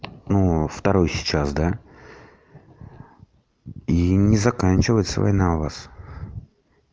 ну второй сейчас да и не заканчивать свой нанавоз